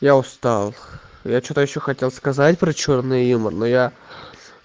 я устал я что-то ещё хотел сказать про чёрный юмор но я